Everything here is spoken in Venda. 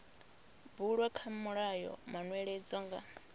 bulwa kha mulayo manweledzo nga